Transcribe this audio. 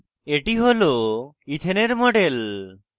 এটি হল ethane ethane এর model